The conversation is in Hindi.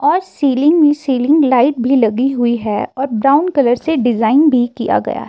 और सीलिंग सीलिंग लाइट भी लगी हुई है और ब्राउन कलर से डिजाइन भी किया गया--